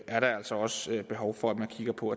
er der altså også behov for at man kigger på